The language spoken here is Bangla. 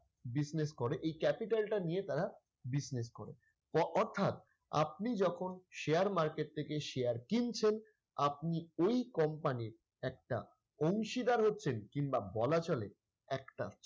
business করে এই capital টা নিয়ে তারা business করে অর্থাৎ আপনি যখন share market থেকে share কিনছেন আপনি ওই company এর একটা অংশীদার হচ্ছেন কিংবা বলা চলে একটা,